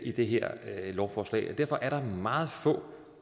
det her lovforslag derfor er der meget få